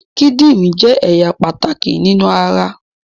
The kidney is a very important part of our body